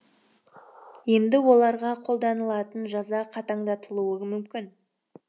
енді оларға қолданылатын жаза қатаңдатылуы мүмкін